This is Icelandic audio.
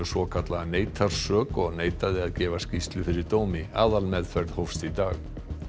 svokallaða neitar sök og neitaði að gefa skýrslu fyrir dómi aðalmeðferð hófst í dag